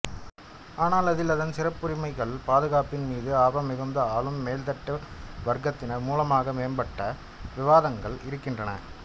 ஆனால் அதில் அதன் சிறப்புரிமைகள் பாதுகாப்பின் மீது ஆர்வம் மிகுந்த ஆளும் மேல்தட்டு வர்க்கத்தினர் மூலமாக மேம்பட்ட விவாதங்களும் இருக்கின்றன